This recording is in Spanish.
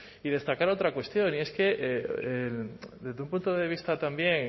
y destacar otra cuestión y es que desde un punto de vista también